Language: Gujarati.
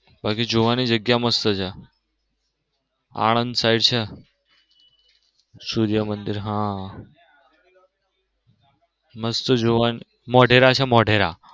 બાકી જોવાની જગ્યા મસ્ત છે આનંદ side છે સૂર્ય મંદિર હા મસ્ત જોવની મોઢેરા છે મોઢેરા.